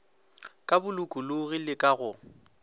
ka bolokologi le ka go